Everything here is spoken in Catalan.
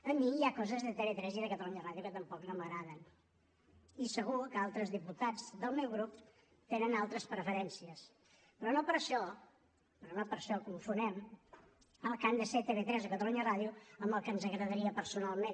a mi hi ha coses de tv3 i de catalunya ràdio que tampoc no m’agraden i segur que altres diputats del meu grup tenen altres preferències però no per això però no per això confonem el que han de ser tv3 o catalunya ràdio amb el que ens agradaria personalment